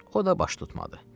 O da baş tutmadı.